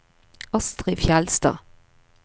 Astrid Fjellstad